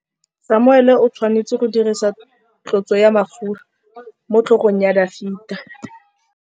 Samuele o tshwanetse go dirisa tlotsô ya mafura motlhôgong ya Dafita.